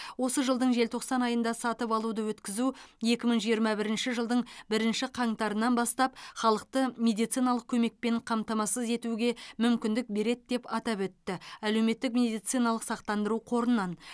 осы жылдың желтоқсан айында сатып алуды өткізу екі мың жиырма бірінші жылдың бірінші қаңтарынан бастап халықты медициналық көмекпен қамтамасыз етуге мүмкіндік береді деп атап өтті әлеуметтік медициналық сақтандыру қорынан